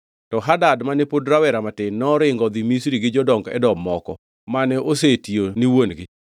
To Hadad, mane pod rawera matin, noringo odhi Misri gi jodong Edom moko, mane osetiyo ni wuon-gi.